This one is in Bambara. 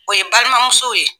O ye balimamusow ye